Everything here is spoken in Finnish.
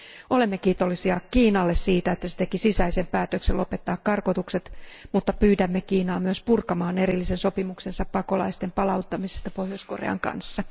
Olemme kiitollisia Kiinalle siitä, että se teki sisäisen päätöksen lopettaa karkotukset, mutta pyydämme Kiinaa myös purkamaan erillisen sopimuksensa pakolaisten palauttamisesta Pohjois Korean kanssa.